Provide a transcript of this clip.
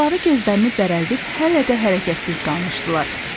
Balaları gözlərini bərəldib hələ də hərəkətsiz qalmışdılar.